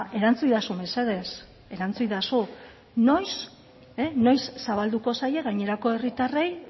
erantzuidazu mesedez erantzuidazu noiz zabalduko zaie gainerako herritarrei